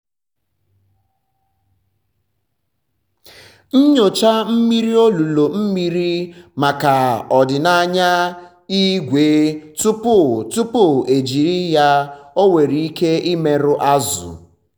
nyochaa mmiri olulu mmiri maka ọdịnaya ígwè tupu tupu eji ya ọ nwere ike imerụ azụ̀.